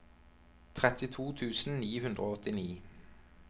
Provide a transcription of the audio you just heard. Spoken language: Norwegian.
trettito tusen ni hundre og åttini